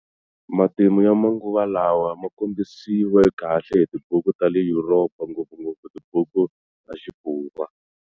Matimu ya manguva lawa ma kombisiwe kahle hi tibuku ta le Yuropa, ngopfungopfu tibuku ta Xifurwa.